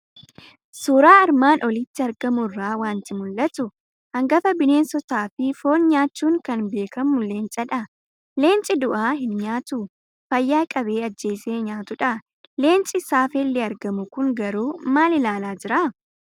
Suuraa armaan olitti argamu irraa waanti mul'atu; hangafa bineensotaafi foon nyaachuun kan beekamu Leencadha. Leencii du'aa hin nyaatu, fayyaa qabee ajjeese nyaatudha. Leenci saafelli argamu kun garuu maal ilaalaa jiraa?